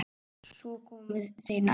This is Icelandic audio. Svo komu þeir nær.